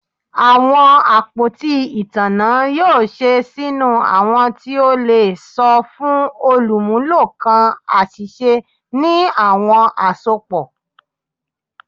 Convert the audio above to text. Awọn apoti itanna yoo ṣe sinu awọn ti o le sọ fun olumulo kan aṣiṣe ni awọn asopọ